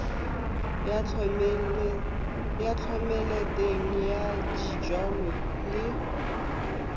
ya thomeloteng ya dijalo le